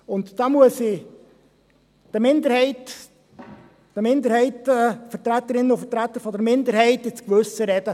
Hier muss ich den Vertreterinnen und Vertretern der Minderheit ins Gewissen reden: